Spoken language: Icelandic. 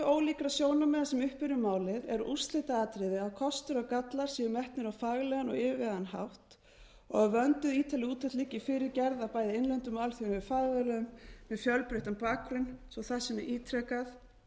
ólíkra sjónarmiða sem uppi eru um málið er úrslitaatriði að kostir og gallar séu metnir á faglegan og yfirvegaðan hátt og að vönduð ítarleg úttekt liggi fyrir gerð af bæði innlendum og alþjóðlegum fagaðilum með fjölbreyttan bakgrunn svo að það sé ítrekað